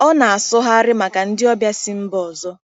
Ọ na-asụgharị maka ndị ọbịa si mba ọzọ.